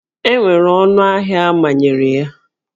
E nwere ọnụ ahịa a manyere ya?